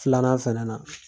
Filanan fɛnɛ na